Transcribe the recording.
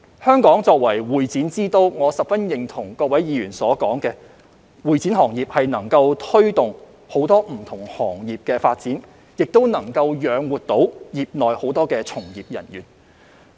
香港作為會展之都，我十分認同各位議員所說，會展行業能推動很多不同行業的發展，亦能養活業內很多從業人員。